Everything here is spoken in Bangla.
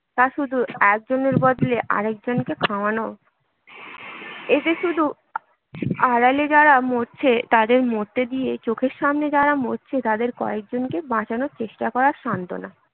তা শুধু একজনের বদলে আর একজনকে খাওয়ানো এতে শুধু আড়ালে যারা মরছে তাদের মরতে দিয়ে চোখের সামনে যারা মরছে তাদের কয়েকজনকে বাঁচানোর চেষ্টা করার সান্ত্বনা